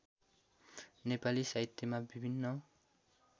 नेपाली साहित्यमा विभिन्न